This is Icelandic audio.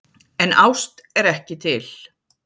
En ást er ekki til.